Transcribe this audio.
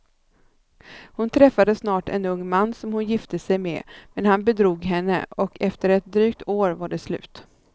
Hon träffade snart en ung man som hon gifte sig med, men han bedrog henne och efter ett drygt år var det slut.